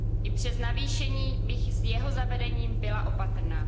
I přes navýšení bych s jeho zavedením byla opatrná.